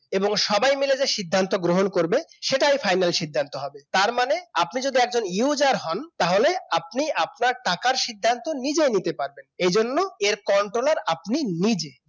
এবং সবাই মিলে যে সিদ্ধান্ত গ্রহণ করবে সেটাই final সিদ্ধান্ত হবে তার মানে আপনি যদি একজন user হন তাহলে আপনি আপনার টাকার সিদ্ধান্ত নিজেই নিতে পারবেন এজন্য এর controller আপনি নিজে